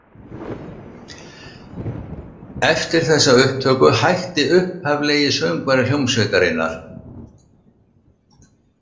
Eftir þessa upptöku hætti upphaflegi söngvari hljómsveitarinnar.